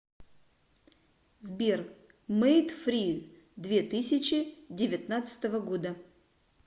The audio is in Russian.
сбер мейд фри две тысячи девятнадцатого года